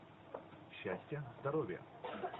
счастья здоровья